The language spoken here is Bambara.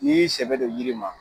Ni y'i sɛbɛ don yiri ma